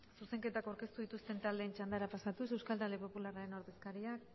zuzenketak aurkeztu dituzten taldeen txandara pasatuz euskal talde popularraren ordezkariak